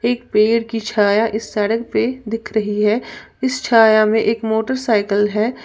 एक पेड़ की छाया इस सड़क पे दिख रही है इस छाया में एक मोटरसाइकल है।